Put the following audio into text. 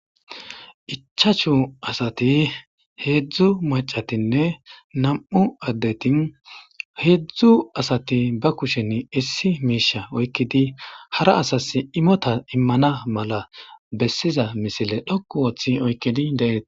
Ichachu asati heedzdzu macatinne nam7u addetin heedzdzu asati ba kushen issi miisha oykkidi hara asas imota immana mala bessiza misile dhokku wooththi oykkidi deeeti.